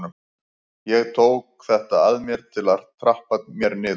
Ég tók þetta að mér til að trappa mér niður.